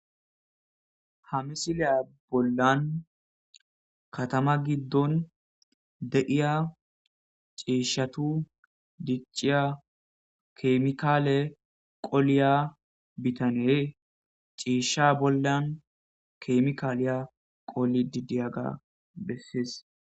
Ha misiliya bollan, katama giddon de'iya ciishatu dicciya keemikale qoliya bitanee, ciisha bollan keemikalilya qolidi diyaga bessiis.